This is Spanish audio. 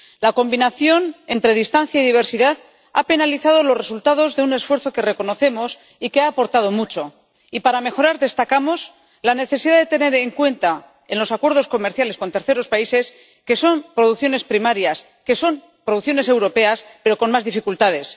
La combinación entre distancia y diversidad ha penalizado los resultados de un esfuerzo que reconocemos y que ha aportado mucho y, para mejorar, destacamos la necesidad de tener en cuenta en los acuerdos comerciales con terceros países que son producciones primarias, que son producciones europeas, pero con más dificultades